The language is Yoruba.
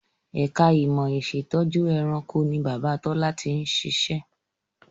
Ẹ̀ka ìmọ̀ ìṣẹ̀tọ́jú ẹranko ni Bàbá Tọ́lá ti ń ṣiṣẹ́